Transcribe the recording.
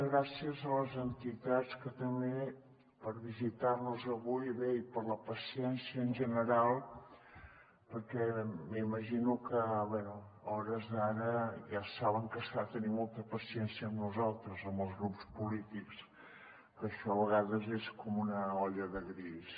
gràcies a les entitats també per visitar nos avui i bé per la paciència en general perquè m’imagino que a hores d’ara ja saben que s’ha de tenir molta paciència amb nosaltres amb els grups polítics que això a vegades és com una olla de grills